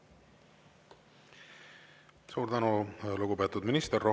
Suur tänu, lugupeetud minister!